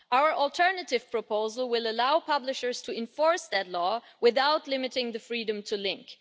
Our alternative proposal will allow publishers to enforce that law without limiting the freedom to link.